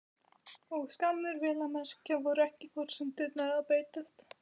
Og skammir, vel að merkja. voru ekki forsendurnar að breytast?